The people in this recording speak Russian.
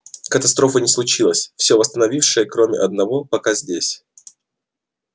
катастрофы не случилось все восставшие кроме одного пока здесь